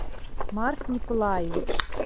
марс николаевич